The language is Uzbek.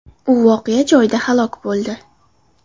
U voqea joyida halok bo‘ldi.